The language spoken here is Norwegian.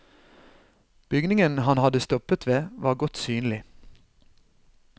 Bygningen han hadde stoppet ved var godt synlig.